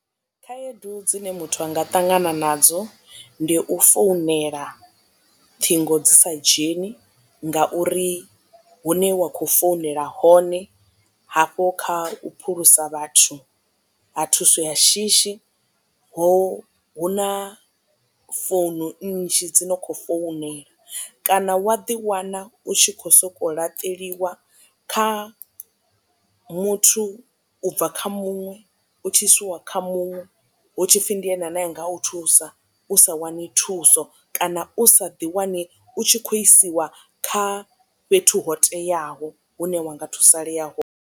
Khaedu dzine muthu anga tangana nadzo ndi u founela ṱhingo dzi sa dzheni ngauri hune wa khou founela hone hafho kha u phulusa vhathu ha thuso ya shishi ho hu na founu nnzhi dzi no khou founela kana wa ḓiwana u tshi khou sokou laṱelwa kha muthu ubva kha muṅwe u tshi isiwa kha muṅwe hu tshipfi ndi ene ane anga u thusa u sa wani thuso kana u sa ḓi wane u tshi khou isiwa kha fhethu ho teaho hune wanga thusalea hone.